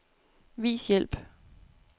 Vis hjælp.